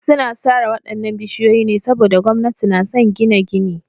Suna sare waɗannan bishiyoyi ne saboda gwamnati na son gina gini.